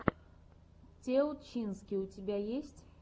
теутчински у тебя есть